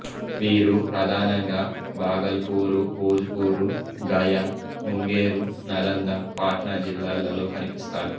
వీరు ప్రధానంగా భాగల్పూరు భోజ్పూరు గయా ముంగేరు నలంద పాట్నా జిల్లాలలో కనిపిస్తారు